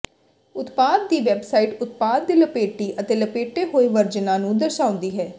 ਉਤਪਾਦ ਦੀ ਵੈੱਬਸਾਈਟ ਉਤਪਾਦ ਦੇ ਲਪੇਟੀ ਅਤੇ ਲਪੇਟੇ ਹੋਏ ਵਰਜਨਾਂ ਨੂੰ ਦਰਸਾਉਂਦੀ ਹੈ